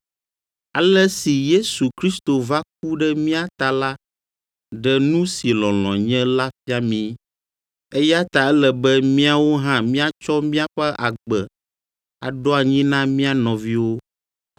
Ale si Yesu Kristo va ku ɖe mía ta la ɖe nu si lɔlɔ̃ nye la fia mí. Eya ta ele be míawo hã míatsɔ míaƒe agbe aɖo anyi na mía nɔviwo.